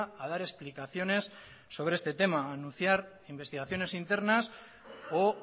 a dar explicaciones sobre este tema anunciar investigaciones internas o